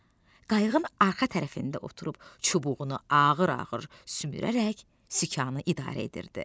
qayıqın arxa tərəfində oturub çubuğunu ağır-ağır sümürərək sikanı idarə edirdi.